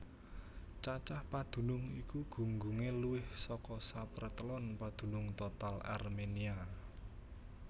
Cacah padunung iki gunggungé luwih saka sapratelon padunung total Arménia